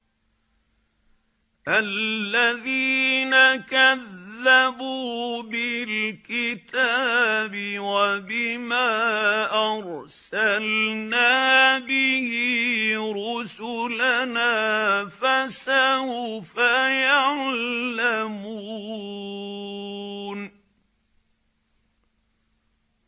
الَّذِينَ كَذَّبُوا بِالْكِتَابِ وَبِمَا أَرْسَلْنَا بِهِ رُسُلَنَا ۖ فَسَوْفَ يَعْلَمُونَ